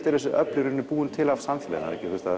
eru þessi öfl búin til af samfélaginu